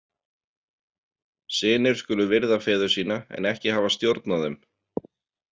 Synir skulu virða feður sína en ekki hafa stjórn á þeim.